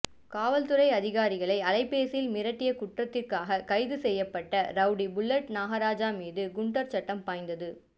காவல் துறை அதிகாரிகளை அலைபேசியில் மிரட்டிய குற்றத்திற்காக கைது செய்யப்பட்ட ரௌடி புல்லட் நாகராஜ் மீது குண்டர் சட்டம் பாய்ந்தது